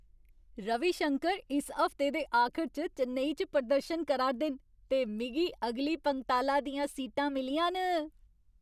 रवि शंकर इस हफ्ते दे आखर च चेन्नई च प्रदर्शन करा 'रदे न ते मिगी अगली पंगताला दियां सीटां मिलियां न!